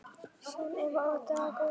Sunneva og Dagur.